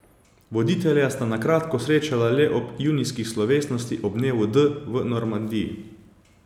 Voditelja sta se na kratko srečala le ob junijski slovesnosti ob dnevu D v Normandiji.